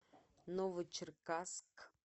новочеркасск